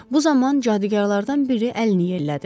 Bu zaman cadugarlardan biri əlini yellədi.